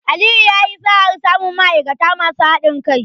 Aliyu yayi sa'ar samun ma'aikata masu haɗin kai.